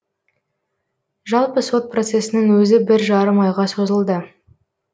жалпы сот процесінің өзі бір жарым айға созылды